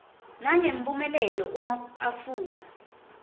nangemphumelelo uma afundza